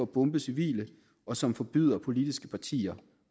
bombe civile og som forbyder politiske partier